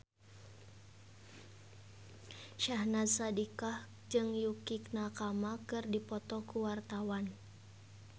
Syahnaz Sadiqah jeung Yukie Nakama keur dipoto ku wartawan